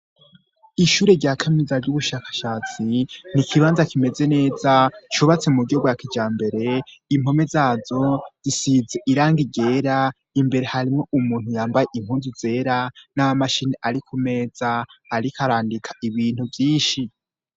Ishure rya kamiza ry'ubushakashatsi ni ikibanza kimeze neza, cubatse mu bgiogwakijambere impome zazo zisize irangigera imbere harimo umuntu yambaye inkunzu zera n'ama mashini ari ku meza ariko arandika ibintu vyinshi.